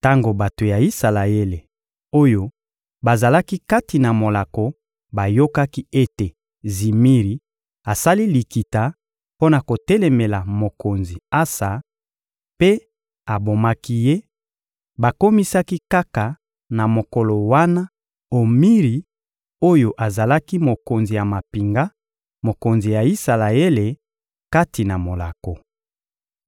Tango bato ya Isalaele oyo bazalaki kati na molako bayokaki ete Zimiri asali likita mpo na kotelemela mokonzi Asa mpe abomaki ye, bakomisaki kaka na mokolo wana Omiri oyo azalaki mokonzi ya mampinga, mokonzi ya Isalaele kati na molako.